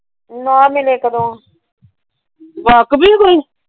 ਨਾ ਮਿਲੇ ਕਦੋ।